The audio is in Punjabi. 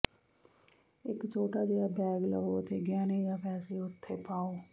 ਇਕ ਛੋਟਾ ਜਿਹਾ ਬੈਗ ਲਵੋ ਅਤੇ ਗਹਿਣੇ ਜਾਂ ਪੈਸੇ ਉੱਥੇ ਪਾਓ